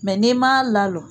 Mɛ n'i m'a la lɔ